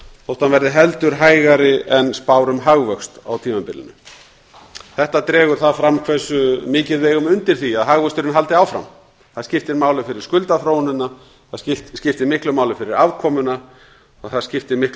þótt hann verði heldur hægari en spár um hagvöxt á tímabilinu þetta dregur það fram hversu mikið við eigum undir því að hagvöxturinn haldi áfram það skiptir máli fyrir skuldaþróunina það skiptir miklu máli fyrir afkomuna og það skiptir miklu